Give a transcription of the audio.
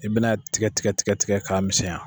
I bina tigɛtigɛ tigɛtigɛ k'a misɛnya.